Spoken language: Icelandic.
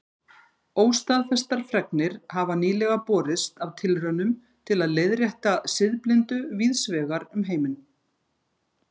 Óstaðfestar fregnir hafa nýlega borist af tilraunum til að leiðrétta siðblindu víðs vegar um heiminn.